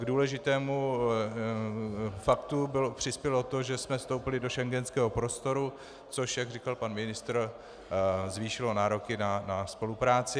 K důležitému faktu přispělo to, že jsme vstoupili do schengenského prostoru, což, jak říkal pan ministr, zvýšilo nároky na spolupráci.